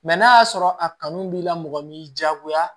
Mɛ n'a y'a sɔrɔ a kanu b'i la mɔgɔ m'i diyagoya